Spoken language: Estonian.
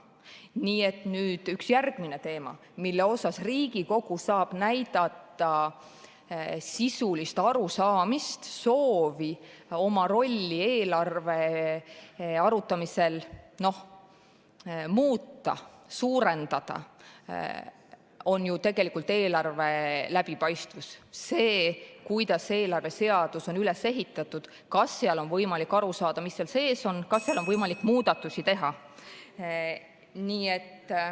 Nii et üks järgmisi teemasid, mille puhul Riigikogu saab näidata sisulist arusaamist, soovi oma rolli eelarve arutamisel muuta ja suurendada, on ju eelarve läbipaistvus, see, kuidas eelarveseadus on üles ehitatud, kas on võimalik aru saada, mis seal sees on, kas seal on võimalik muudatusi teha.